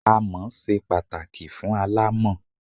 Amọ̀ ṣe pàtàkì fún aláàmọ̀n.